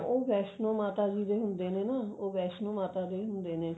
ਉਹ ਵੈਸ਼ਨੂੰ ਮਾਤਾ ਜੀ ਦੇ ਹੁੰਦੇ ਨੇ ਨਾ ਉਹ ਵੈਸ਼ਨੂੰ ਮਾਤਾ ਦੇ ਹੁੰਦੇ ਨੇ